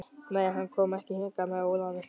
Nei, hann kom ekki hingað með Ólafi.